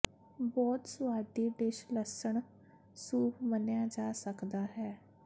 ਬਹੁਤ ਸੁਆਦੀ ਡਿਸ਼ ਲਸਣ ਸੂਪ ਮੰਨਿਆ ਜਾ ਸਕਦਾ ਹੈ